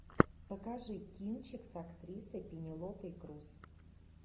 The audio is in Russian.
покажи кинчик с актрисой пенелопой крус